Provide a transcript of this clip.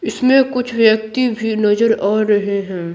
इसमे कुछ व्यक्ति भी नजर आ रहे हैं।